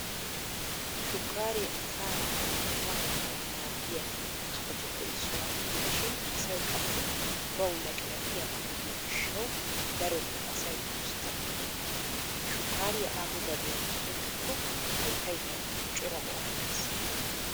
Shukkaare asaa na"awu qummatettawu maaddiya kattatuppe issuwaa gidishin asay qassi bawu laqlaqiyaagaa gidiyo gishshawu darotoo asay usttaa koyyeenna. Shukkaariya aaho gadiyan tokkiko hayttaykka cora go'aa immees.